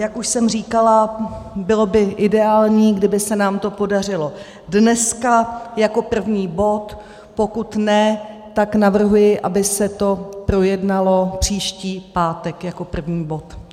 Jak už jsem říkala, bylo by ideální, kdyby se nám to podařilo dneska jako první bod, pokud ne, tak navrhuji, aby se to projednalo příští pátek jako první bod.